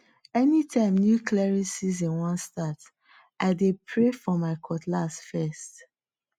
anytime new clearing season wan start i dey pray for my cutlass first